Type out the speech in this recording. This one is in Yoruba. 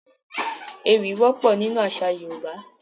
Poems are common in Yoruba culture